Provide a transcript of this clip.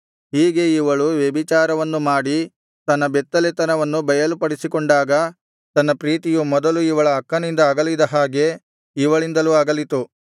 ಹೀಗೆ ಇವಳು ವ್ಯಭಿಚಾರವನ್ನು ಮಾಡಿ ತನ್ನ ಬೆತ್ತಲೆತನವನ್ನು ಬಯಲುಪಡಿಸಿಕೊಂಡಾಗ ತನ್ನ ಪ್ರೀತಿಯು ಮೊದಲು ಇವಳ ಅಕ್ಕನಿಂದ ಅಗಲಿದ ಹಾಗೆ ಇವಳಿಂದಲೂ ಅಗಲಿತು